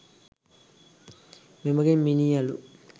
මෙමගින් මිනී අළු